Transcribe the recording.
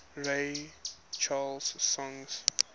ray charles songs